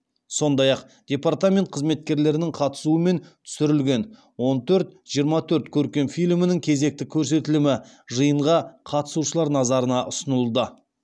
сондай ақ департамент қызметкерлерінің қатысуымен түсірілген он төрт жиырма төрт көркем фильмінің кезекті көрсетілімі жиынға қатысушылар назарына ұсынылды